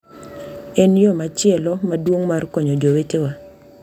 En yo machielo maduong’ mar konyo jowetewa.